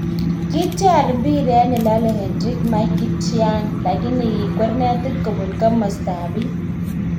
Kityar mpiret nelale Henrik Mkhitaryan lakini kikwer netit kobun komasta ab bi